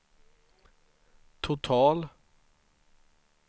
total